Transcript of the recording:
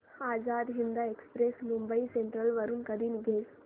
Azad Hind Express Mumbai Central वरून कधी निघेल